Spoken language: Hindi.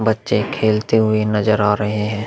बच्चे खेलते हुए नजर आ रहे हैं।